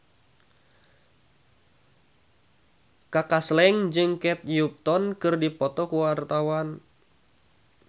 Kaka Slank jeung Kate Upton keur dipoto ku wartawan